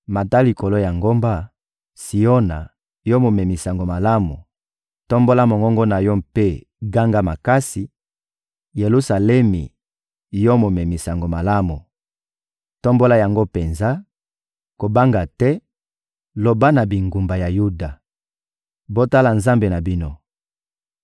Mata likolo ya ngomba, Siona, yo momemi sango malamu; tombola mongongo na yo mpe ganga makasi, Yelusalemi, yo momemi sango malamu; tombola yango penza, kobanga te; loba na bingumba ya Yuda: «Botala Nzambe na bino!»